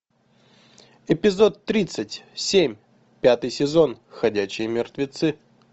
эпизод тридцать семь пятый сезон ходячие мертвецы